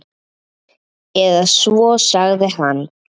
Eða svo sagði hann.